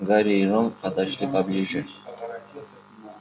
гарри и рон подошли поближе